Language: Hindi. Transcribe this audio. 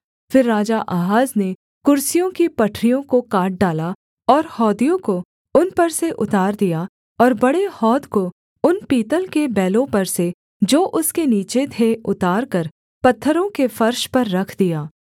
फिर राजा आहाज ने कुर्सियों की पटरियों को काट डाला और हौदियों को उन पर से उतार दिया और बड़े हौद को उन पीतल के बैलों पर से जो उसके नीचे थे उतारकर पत्थरों के फर्श पर रख दिया